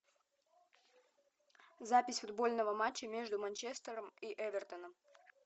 запись футбольного матча между манчестером и эвертоном